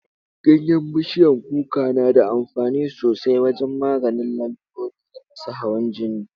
Ganyen bishiyar kuka na daamfani sosai wajen maganin lalurori irin su hawan jini.